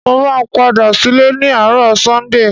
Mo máa padà sílé ni àárò Sunday